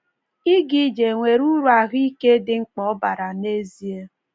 Ị́ ga-ije è nwere uru ahụ́ ike dị mkpa o bara n’ezie?